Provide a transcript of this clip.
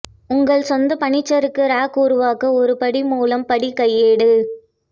உங்கள் சொந்த பனிச்சறுக்கு ராக் உருவாக்க ஒரு படி மூலம் படி கையேடு